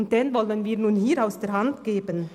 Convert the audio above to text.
Diesen sollen wir hier aus der Hand geben?